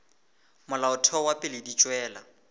molaotheo wa pele di tšwela